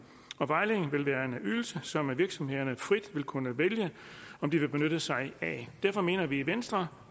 og vejledningen vil være en ydelse som virksomhederne frit vil kunne vælge om de vil benytte sig af derfor mener vi i venstre